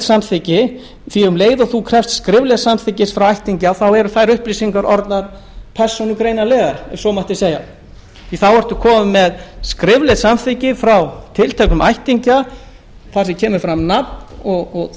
samþykki því að um leið og skriflegs samþykkis er krafist frá ættingja eru þær upplýsingar orðnar persónugreinanlegar ef svo mætti segja þá er maður kominn með skriflegt samþykki frá tilteknum ættingja þar sem kemur fram nafn og það